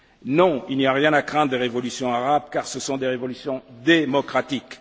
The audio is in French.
Non, il n'y a rien à craindre des révolutions arabes, car ce sont des révolutions démocratiques.